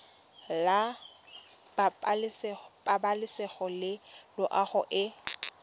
la pabalesego le loago e